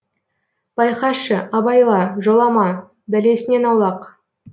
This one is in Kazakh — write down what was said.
байқашы абайла жолама бәлесінен аулақ